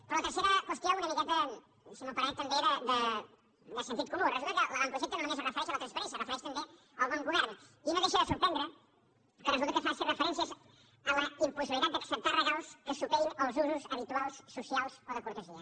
però la tercera qüestió una miqueta si m’ho permet també de sentit comú resulta que l’avantprojecte no només es refereix a la transparència es refereix també al bon govern i no deixa de sorprendre que resulta que faci referències a la impossibilitat d’acceptar regals que superin els usos habituals socials o de cortesia